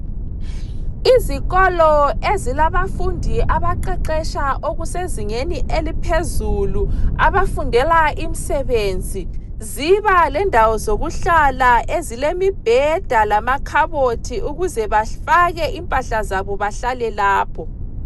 Izikolo ezilabafundi abaqeqetsha okusezingeni eliphezulu abafundela imisebenzi ziba lendawo zokuhlala ezilemibheda lamakhabothi ukuze bafake impahla zabo bahlale lapho.